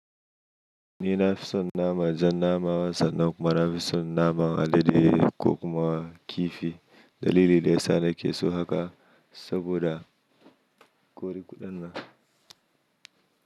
Ni nafi son naman jan nama wasa, kuma nafi son naman alade ko kuma kifi. Dalili daya sa nake so haka saboda ƙuriƙuɗan na.